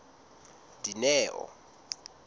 dineo